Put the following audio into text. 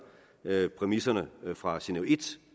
præmisserne fra genève i